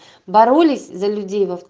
боролись за люди